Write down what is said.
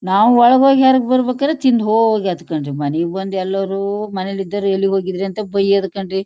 ನಾವು ಒಳಗ್ ಹೋಗಿ ಹೇರಗ್ ಬರಬೇಕಾದರೆ ತಿಂದ ಹೋಗಿ ಆಯಿತು ಕಣ್ರೀ . ಇಗ್ ಬಂದು ಎಲ್ಲರೂ ಮನೇಲ್ ಇದ್ದವರು ಎಲ್ಲಿ ಹೋಗಿದ್ರಿ ಅಂತ ಬಯ್ಯೋದ್ ಕಣ್ರೀ.